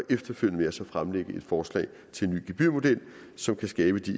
efterfølgende fremlægger vi forslag til en ny gebyrmodel som kan skabe